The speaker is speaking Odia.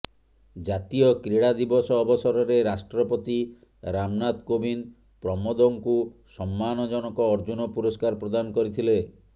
ଜାତୀୟ କ୍ରୀଡ଼ା ଦିବସ ଅବସରରେ ରାଷ୍ଟ୍ରପତି ରାମନାଥ କୋବିନ୍ଦ ପ୍ରମୋଦଙ୍କୁ ସମ୍ମାନଜନକ ଅର୍ଜୁନ ପୁରସ୍କାର ପ୍ରଦାନ କରିଥିଲେ